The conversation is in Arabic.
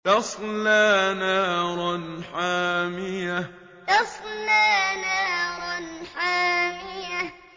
تَصْلَىٰ نَارًا حَامِيَةً تَصْلَىٰ نَارًا حَامِيَةً